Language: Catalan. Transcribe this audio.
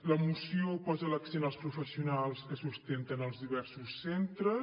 la moció posa l’accent als professionals que sostenen els diversos centres